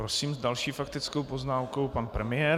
Prosím, s další faktickou poznámkou pan premiér.